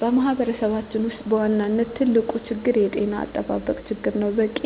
በማህበረሰባችን ውስጥ በዋናነት ትልቁ ችግር የጤና አጠባበቅ ችግር ነው። በቂ